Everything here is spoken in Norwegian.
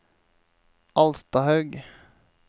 Alstahaug